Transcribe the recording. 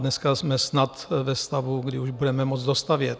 Dneska jsme snad ve stavu, kdy už budeme moct dostavět.